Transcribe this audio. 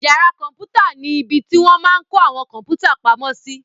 Yàrá kọ̀mpútà ni ibi tí wọ́n máa n kó àwọn kọ̀mpútà pamo sí